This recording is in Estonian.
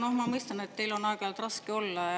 No ma mõistan, et teil on aeg-ajalt raske olla.